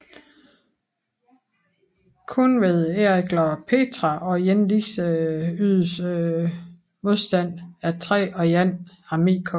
Kun ved Erikler Petra og Jenidze ydedes modstand af III og I armékorps